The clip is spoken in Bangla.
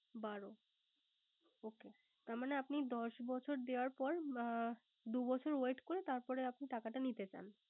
বারো ও দশ বছর দেওয়ার পর দু বছর Wait করে তারপরে আপনি টাকাটা নিতে পারবেন